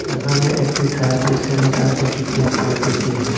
এখানে একটি service centre দেখিতে পাইতেসি।